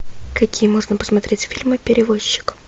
какие можно посмотреть фильмы перевозчик